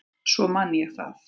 Svo man ég það.